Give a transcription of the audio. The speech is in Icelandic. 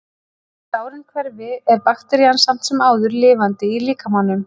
þótt sárin hverfi er bakterían samt sem áður lifandi í líkamanum